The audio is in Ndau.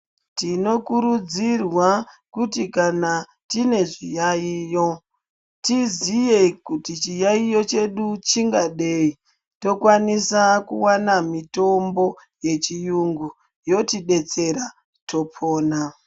Tinokurudzirwa kuti kana tiine zviyayiyo tizive kuti chiyayiyo chedu chingadei tokwanisa kuwana mitombo yechiyungu yotibetsera topona .